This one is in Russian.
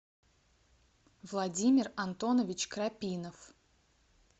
владимир антонович крапинов